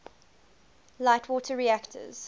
light water reactors